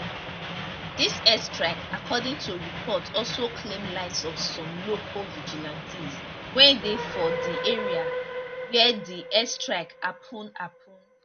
dis airstrike according to report also claim lives of some local vigilantes wey dey for di area wia di airstrike happun happun